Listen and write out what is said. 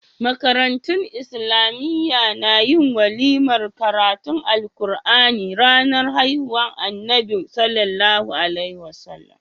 Makarantun islamiya na yin walimar karatun qur'ani ranar haihuwar annabi SAW